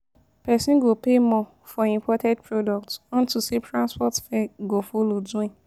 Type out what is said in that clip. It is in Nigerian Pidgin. Pesin go pay more for imported products unto say transport fare go follow join.